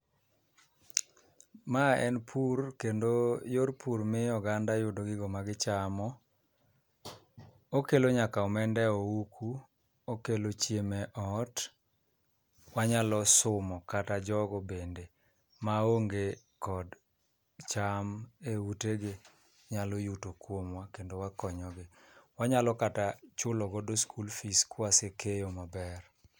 Ma en pur kendo yor pur miyo oganda yudo gigo magichamo, okelo nyaka omenda e ohuku, okelo chiemo e ot, wanyalo sumo kata jogo bende maonge kod cham e utegi nyalo yuto kuomwa kendo wakonyogi, wanyalo kata chulogo school fees kwasekeyo maber.